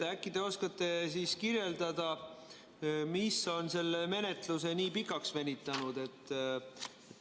Äkki te oskate kirjeldada, mis on selle menetluse nii pikaks venitanud?